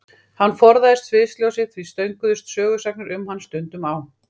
Hann forðaðist sviðsljósið og því stönguðust sögusagnir um hann stundum á.